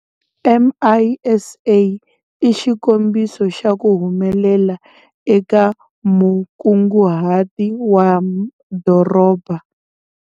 MISA i xikombiso xa ku humelela eka mukunguhati wa madoroba.